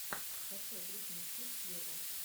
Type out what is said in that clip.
скачай бритни спирс вево